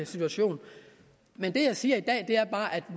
situation men det jeg siger i dag